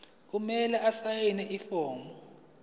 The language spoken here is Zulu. kumele asayine ifomu